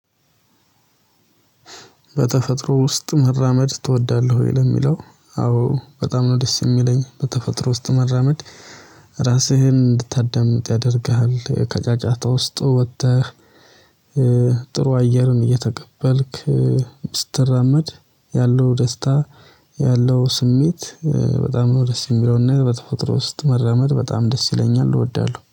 በተፈጥሮ ውስጥ መራመድ ትወዳለህ ወይ? ለሚለው አዎ በጣም ነው ደስ የሚለኝ በተፈጥሮ ውስጥ መራመድ። ራስህን እንድታዳምጥ ያደርግሃል ከጫጫታ ውስጥ ወጥተህ። ጥሩ አየርን እየተቀበልክ ስትራመድ ያለው ደስታ ያለው ስሜት በጣም ነው። ደስ የሚለውና በተፈጥሮ ውስጥ መራመድ በጣም ደስ ይለኛል እወዳለሁ